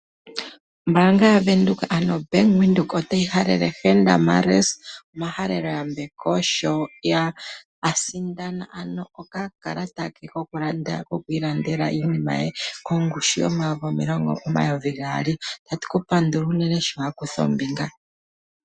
Ombaanga yaVenduka ano oBank Windhoek otayi halele Henda Marais omahalelo yambeko sho a sindana ano okakalata kokwiilandela iinima ye kongushu omayovi gaali. Otatu ku pandula unene sho wa kutha ombinga.